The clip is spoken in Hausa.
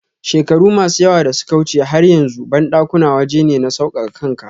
shekaru masu yawa dasuka wuche har yanzu bandakuna waje ne na saukaka kanka.